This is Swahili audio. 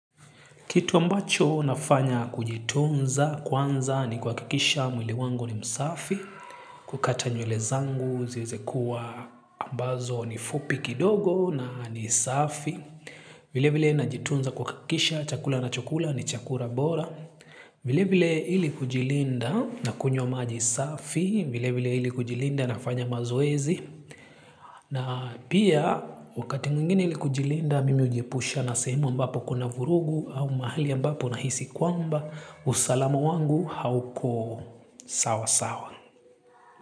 Kitu ambacho nafanya kujitunza kwanza ni kwa kuhakikisha mwili wangu ni msafi, kukata nywele zangu ziweze kuwa ambazo ni fupi kidogo na ni safi. Vile vile najitunza kwa kuhakikisha chakula ninachokula ni chakula bora. Vile vile ili kujilinda na kunywa maji safi, vile vile ili kujilinda nafanya mazoezi. Na pia wakati mwingine ili kujilinda mimi hujiepusha na sehemu ambapo kuna vurugu au mahali ambapo nahisi kwamba usalamu wangu hauko sawa sawa.